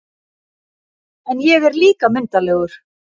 En ég er líka myndarlegur